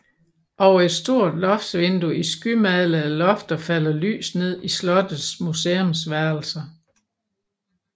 Over et stort loftsvindue i skymalede lofter falder lys ned i slottets museumsværelser